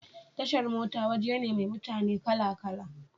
Tashar mota waje ne mai mutane kala kala